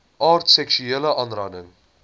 aard seksuele aanranding